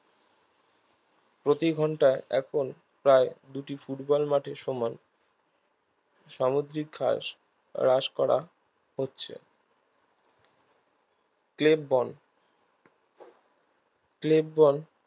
প্রতি ঘন্টায় এখন প্রায় দুটি ফুটবল মাঠের সমান সামুদ্রিক ঘাস হ্রাস করা হচ্ছে ক্লেববন ক্লেববন